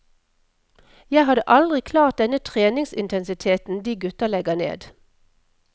Jeg hadde aldri klart den treningsintensiteten de gutta legger ned.